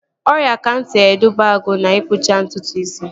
Ọrịa kansa edubago na-ikpụcha ntutu isi